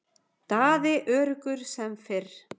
Daði öruggur sem fyrr.